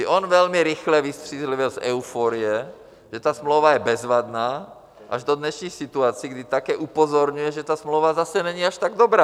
I on velmi rychle vystřízlivěl z euforie, že ta smlouva je bezvadná, až do dnešní situace, kdy také upozorňuje, že ta smlouva zase není až tak dobrá.